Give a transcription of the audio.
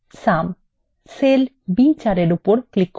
cell b4 এর উপর click করুন